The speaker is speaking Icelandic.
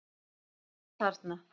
Hann er þarna.